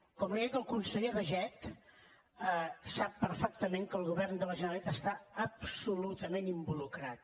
com li ha dit el conseller baiget sap perfectament que el govern de la generalitat hi està absolutament involucrat